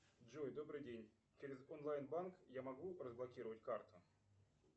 джой добрый день через онлайн банк я могу разблокировать карту